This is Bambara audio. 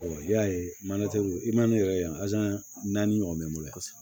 i y'a ye i ma ne yɛrɛ ye yan naani ɲɔgɔn mɛ n bolo kosɛbɛ